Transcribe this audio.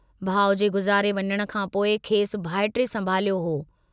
भाउ जे गुज़ारे वञण खां पोइ खेसि भाइटिए संभालियो हो।